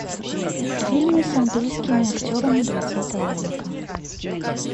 фильмы с английскими актерами двадцатого века